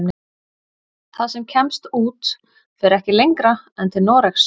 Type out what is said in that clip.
Það sem kemst út fer ekki lengra en til Noregs.